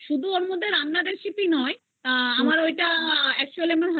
তারমধ্যে রান্নার recipe নয় আমার ঐটা actually আমার Husband এর